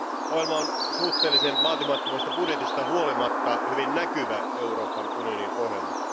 Ohjelma on suhteellisen vaatimattomasta budjetista huolimatta hyvin näkyvä Euroopan unionin ohjelma.